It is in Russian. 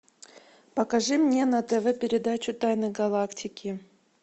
покажи мне на тв передачу тайны галактики